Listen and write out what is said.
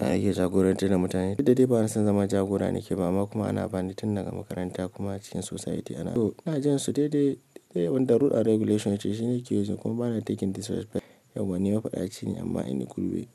A'a ake jagorantar da mutane. Ni dai bana son zama jagora ne ke ba ma kuma ana bani tun daga makaranta kuma cikin society ana. To ina jin su daidai, da yawan da dokoki ya ce shi na ke yi kuma bana so raini. Yau bani mafada acini amma ina gulbe.